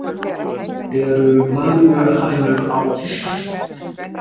eru maríuhænur á íslandi